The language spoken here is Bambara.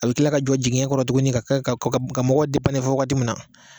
A bɛ tila ka jɔ jigiɲɛ kɔrɔ tuguni ka kɛ ka mɔgɔw fo wagati min na